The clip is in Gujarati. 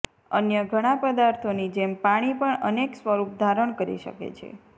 અન્ય ઘણા પદાર્થોની જેમ પાણી પણ અનેક સ્વરૂપ ધારણ કરી શકે છે